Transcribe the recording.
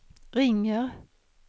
ringer